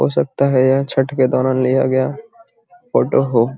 हो सकता है यह छठ के दौरान लिया गया फोटो हो |